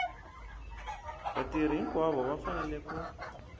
vatirhi hinkwavo va fanele ku